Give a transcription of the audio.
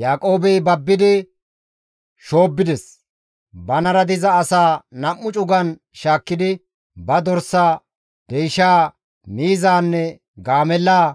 Yaaqoobey babbidi shoobbides; banara diza asaa 2 cugan cugan shaakkidi ba dorsaa, deyshaa, miizaanne gaamellaa